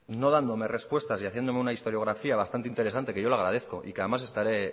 no dándome respuestas y haciéndome una historiografía bastante interesante que yo le agradezco y que además estaré